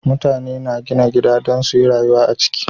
Mutane na gina gida Dan suyi rayuwa a ciki